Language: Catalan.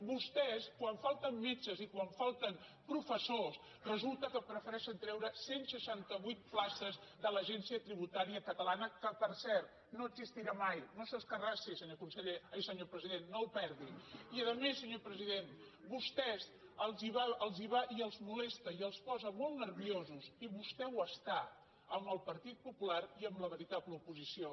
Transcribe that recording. vostès quan falten metges i quan falten professors resulta que prefereixen treure cent i seixanta vuit places de l’agència tributària catalana que per cert no existirà mai no s’escarrassi senyor president no el perdi i a més senyor president a vostès els va i els molesta i els posa molt nerviosos i vostè ho està amb el partit popular i amb la veritable oposició